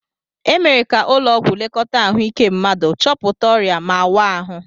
E mere ka ụlọ ọgwụ lekọta ahụike mmadu, chọpụta ọrịa ma waa ahụ.